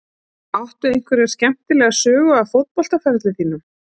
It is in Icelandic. Áttu einhverja skemmtilega sögu af fótboltaferli þínum?